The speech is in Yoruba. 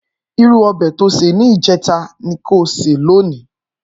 Irú òbè tó sé nijètá ni kó sé lóní